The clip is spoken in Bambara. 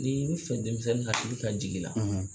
Ni i bi fɛ denmisɛnnin hakili ka jigi i la